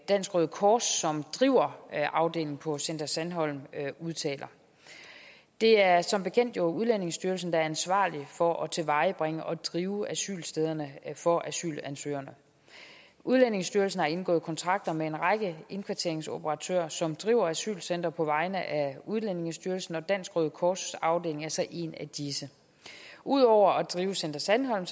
dansk røde kors som driver afdelingen på center sandholm udtaler det er jo som bekendt udlændingestyrelsen der er ansvarlig for at tilvejebringe og drive asylstederne for asylansøgerne udlændingestyrelsen har indgået kontrakter med en række indkvarteringsoperatører som driver asylcentre på vegne af udlændingestyrelsen og dansk røde kors afdeling er så en af disse ud over at drive center sandholm